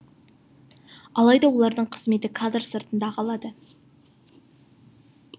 алайда олардың қызметі кадр сыртында қалады